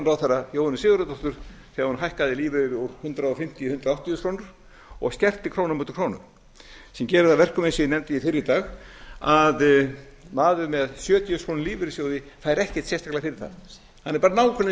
félagsmálaráðherra jóhönnu sigurðardóttur þegar hún hækkaði lífeyri úr hundrað fimmtíu í hundrað áttatíu þúsund krónur og skerti krónu á móti krónu sem gerir það að verkum eins og ég nefndi fyrr í dag að maður með sjötíu prósent krónu lífeyrissjóði fær ekkert sérstaklega fyrir það hann er bara nákvæmlega